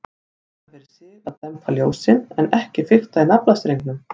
Út af fyrir sig að dempa ljósin, en ekki fikta í naflastrengnum.